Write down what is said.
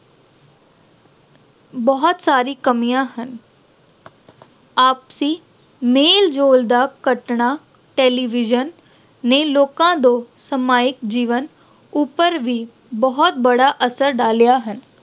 ਬਹੁਤ ਸਾਰੀਆਂ ਕਮੀਆਂ ਹਨ। ਆਪਸੀ ਮੇਲ-ਜੋਲ ਦਾ ਘਟਣਾ television ਨੇ ਲੋਕਾਂ ਦੇ ਸਮਾਜਿਕ ਜੀਵਨ ਉੱਪਰ ਵੀ ਬਹੁਤ ਬੜਾ ਅਸਰ ਡਾਲਿਆ ਹੈ।